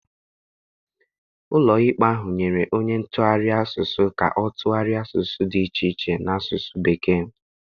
Ụlọikpe ahụ nyere onye ntụgharị asụsụ ka ọ tụgharịa asụsụ dị iche iche n'asụsụ Bekee.